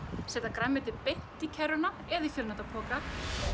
setja grænmetið beint í kerruna eða í fjölnota poka